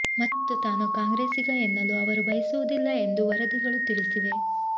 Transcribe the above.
ಮತ್ತು ತಾನು ಕಾಂಗ್ರೆಸಿಗ ಎನ್ನಲು ಅವರು ಬಯಸುವುದಿಲ್ಲ ಎಂದು ವರದಿಗಳು ತಿಳಿಸಿವೆ